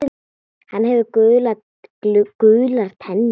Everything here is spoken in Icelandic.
Hann hefur gular tennur.